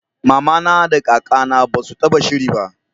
mamana da kaka na basu taba shiri ba